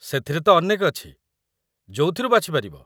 ସେଥିରେ ତ ଅନେକ ଅଛି, ଯୋଉଥିରୁ ବାଛିପାରିବ ।